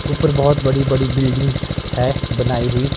ऊपर बहुत बड़ी बड़ी बिल्डिंग्स है बनाई हुई।